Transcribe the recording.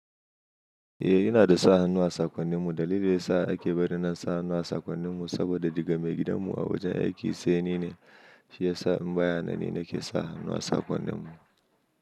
Eh, ina da sa hannu a sakonnin mu. Dalili da ya sa ake bari na sa hannu a sakonnin mu saboda daga mai gidan mu a wajen aiki sai ni ne. Shi ya sa in baya nan ni nake sa hannu a saƙonnin mu.